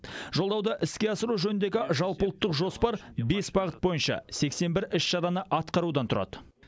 жолдауды іске асыру жөніндегі жалпыұлттық жоспар бес бағыт бойынша сексен бір іс шараны атқарудан тұрады